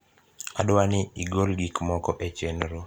adwani igol gik moko e chenro